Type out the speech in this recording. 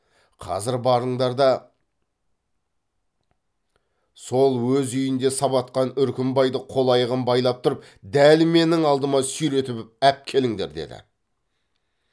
қазір барыңдар да сол өз үйінде сабатқан үркімбайды қол аяғын байлап тұрып дәл менің алдыма сүйретіп әпкеліңдер деді